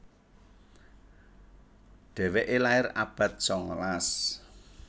Dhéwéké lair abad sangalas